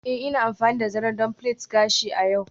Ee, Ina amfani da zaren don plait gashi a yau.